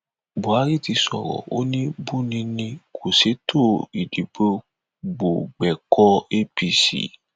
buhari ti sọrọ ó ní buni ni kò sètò ìdìbò gbọgbẹkọọ apc